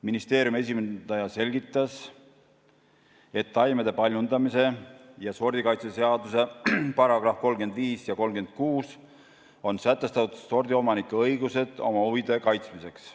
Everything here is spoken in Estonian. Ministeeriumi esindaja selgitas, et taimede paljundamise ja sordikaitse seaduse §-des 35 ja 36 on sätestatud sordiomanike õigused oma huvide kaitsmiseks.